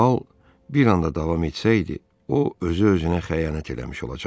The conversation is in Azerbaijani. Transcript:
Bu hal bir anda davam etsəydi, o özü-özünə xəyanət eləmiş olacaqdı.